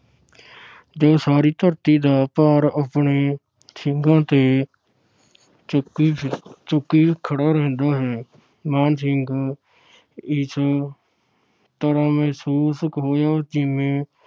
ਜੋ ਸਾਰੀ ਧਰਤੀ ਦਾ ਭਾਰ ਆਪਣੇ ਸਿੰਘਾਂ ਤੇ ਚੁੱਕੀ ਫਿਰ ਚੁੱਕੀ ਖੜਾ ਰਹਿੰਦਾ ਹੈ। ਮਾਣ ਸਿੰਘ ਇਸ ਤਰ੍ਹਾਂ ਮਹਿਸੂਸ ਹੋਇਆ ਜਿਵੇਂ